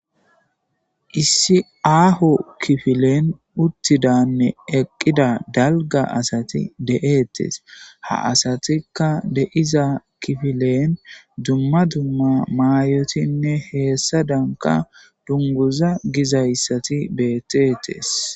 Issi aaho kifilen uttidane eqqida dalgga asati de'ettees ha asatikka de'iza kifilen dumma dumma mayotine hessadanka dunguza gizayssati betteetees.